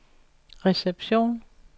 reception